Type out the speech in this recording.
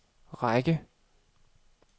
række